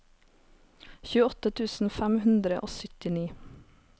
tjueåtte tusen fem hundre og syttini